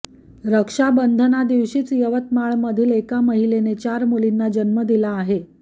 रक्षाबंधनादिवशीच यवतमाळमधील एका महिलेने चार मुलींना जन्म दिला आहे